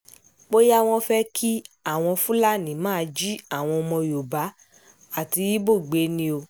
bóyá wọ́n fẹ́ kí àwọn fúlàní máa jí àwọn ọmọ yorùbá àti ibo gbé ni o